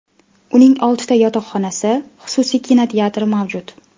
Uning oltita yotoqxonasi, xususiy kinoteatri mavjud.